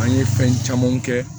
An ye fɛn camanw kɛ